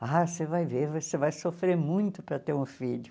Ah, você vai ver, você vai sofrer muito para ter um filho.